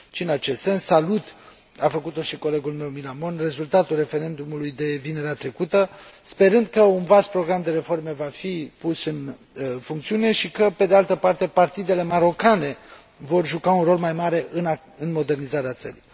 Și în acest sens, salut a făcut o și colegul meu Millán Mon rezultatul referendumului de vinerea trecută, sperând că un vast program de reforme va fi pus în funcțiune, și că, pe de altă parte, partidele marocane vor juca un rol mai mare în modernizarea țării.